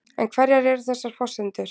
En hverjar eru þessar forsendur?